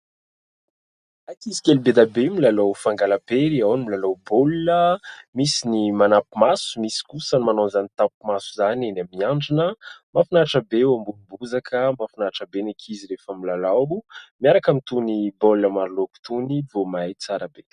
Ankizy kely be dia be, milalao fangalam-pery. Ao ny milalao baolina, misy ny manampi-maso, misy kosa ny manao izany tampi-maso izany eny amin'ny handrina. Mafinaritra be eo ambonin'ny bozaka, mafinaritra be ny ankizy rehefa milalao miaraka amin'itony baolina maro loko itony, vao may tsara be.